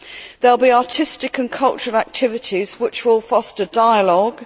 there will be artistic and cultural activities which will foster dialogue